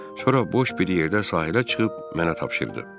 Sonra boş bir yerdə sahilə çıxıb mənə tapşırdı.